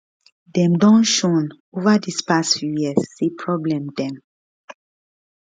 dem don shown ova di past few years say probably dem